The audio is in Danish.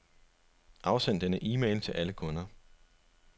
Afsend denne e-mail til alle kunder.